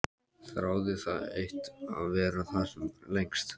Þráði það eitt að vera þar sem lengst.